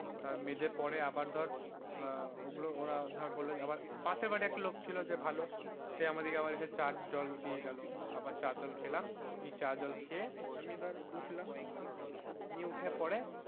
মেঝে পরে আবার ধর ওগুলো আহ ওগুল ওরা ধর বলল আবার পাশের বাড়ির একটা লোক ছিল যে ভালো সে আবার আমাদেরকে এসে চা জল দিয়ে গেল আবার চার জল খেলাম নিয়ে চা জল খেয়ে আমি এবার উঠলাম নিয়ে উঠে পড়ে